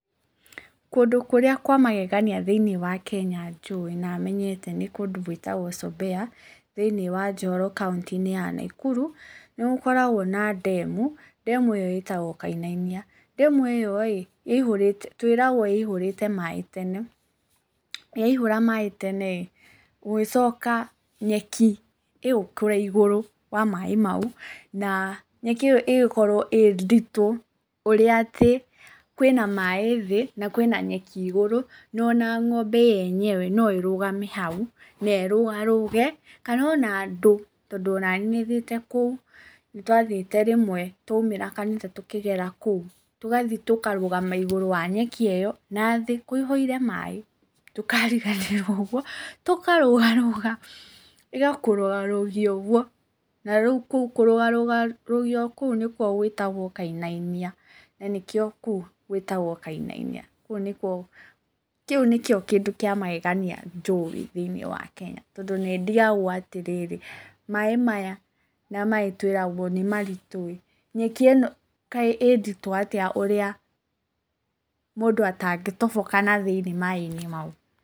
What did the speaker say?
Kũndũ kũrĩa kwa magegania thĩinĩ wa Kenya njũĩ na menyete nĩ kũndũ gwĩtagwo Sombeya, thĩinĩ wa Njoro kauntĩ-inĩ ya Naikuru, nĩgũkoragwo na ndemu, ndemu ĩyo ĩtagwo Kainainia. Ndemu ĩyo rĩ, twĩragwo yaihũrĩte maaĩ tene, yaihũra maaĩ tene ĩ, gũgĩcoka nyeki ĩgĩkũra igũrũ wa maaĩ mau, na nyeki ĩyo ĩgĩkorwo ĩnditũ, ũrĩa atĩ kwĩna maaĩ thĩ, na kwĩna nyeki igũrũ, na ona ng'ombe yenyewe noĩrũgame hau na ĩrũgarũge, kana ona andũ, tondũ onaniĩ nĩthiĩte kũu, nĩndathiĩte rĩmwe, twauma kanitha tũkĩgera kũu, tũgathiĩ tũkarũgama igũrũ wa nyeki ĩyo, na thĩ kũihũire maaĩ ndũkariganĩrwo ũguo, tũkarũga rũga, ĩgakũrũga rũgia ũguo, na rĩu kũrũgarũgio ũguo nĩkuo gwĩtagwo kainainia, nanĩkĩo kũu gwĩtagwo Kainainia. Kũu nĩkuo, kĩu nĩkĩo kĩndũ kĩa magegania njũĩ thĩinĩ wa Kenya, tondũ nĩndigagwo atĩrĩ, maaĩ maya na maaĩ twĩragwo nĩmaritũĩ, nyeki ĩno kaĩ ĩnditũ atĩa ũrĩa mũndũ atangĩtoboka nathĩinĩ maaĩ-inĩ mau.